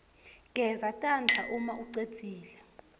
geza tandla umaucedzile